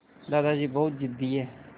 दादाजी बहुत ज़िद्दी हैं